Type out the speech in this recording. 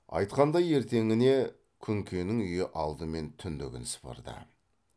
айтқандай ертеңіне күнкенің үйі алдымен түндігін сыпырды